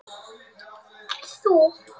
En þú?